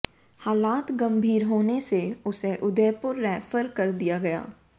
हालात गंभीर होने से उसे उदयपुर रैफर कर दिया गया